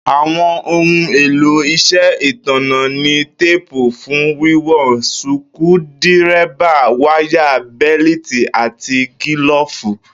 Àwo̩n ohun èlò is̩é̩ ìtànná ni téèpù fun wiwon, suku-díré̩bà, wáyà, bé̩lítì àti gíló̩ò̩fù